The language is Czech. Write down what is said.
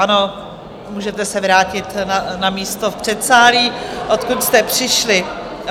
Ano, můžete se vrátit na místo v předsálí, odkud jste přišli.